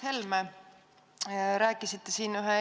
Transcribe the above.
Hea Mart Helme!